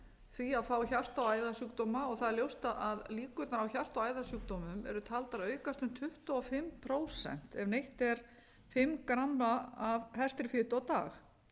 því að fá hjarta og æðasjúkdóma það er ljóst að líkurnar á hjarta og æðasjúkdómum eru taldar aukast um tuttugu og fimm prósent ef neytt er fimm gramma af hertri fitu á dag